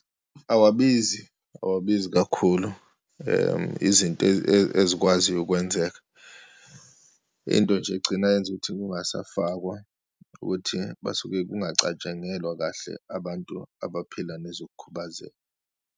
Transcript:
Awabizi, awabizi kakhulu izinto ezikwaziyo ukwenzeka. Into nje egcina yenza ukuthi kungasafakwa ukuthi basuke kungacatshangelwa kahle abantu abaphila nezokukhubazeka.